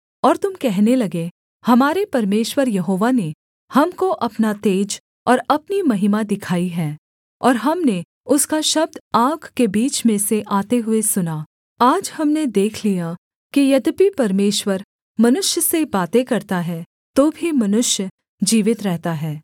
और तुम कहने लगे हमारे परमेश्वर यहोवा ने हमको अपना तेज और अपनी महिमा दिखाई है और हमने उसका शब्द आग के बीच में से आते हुए सुना आज हमने देख लिया कि यद्यपि परमेश्वर मनुष्य से बातें करता है तो भी मनुष्य जीवित रहता है